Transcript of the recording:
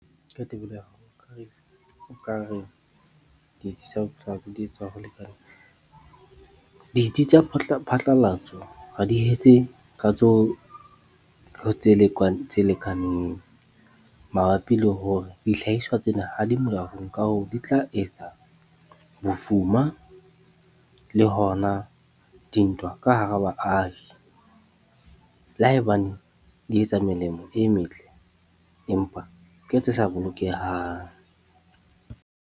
Ka tebello nkare ditsi tsa di etsa ho lekaneng. Ditsi tsa phatlalatso ha di ka tseo tse lekaneng mabapi le hore dihlahiswa tsena ha di molaong. Ka hoo di tla etsa bofuma le hona dintwa ka hara baahi. Le haebane di etsa melemo e metle empa ke tse sa bolokehang.